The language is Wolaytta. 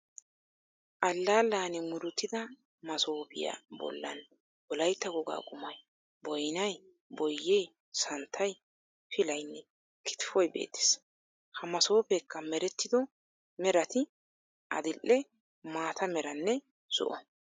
Alallani muruttida masooppiya bollan wolaytta wogaa qummay booyinay, boyyee, santtay, pillaynne kittifoy beettees. Ha masooppekka merettido meratti adil"e, maata meeranne zo"o.